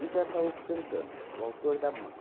Isso é Ataulfo cantando, o autor da música.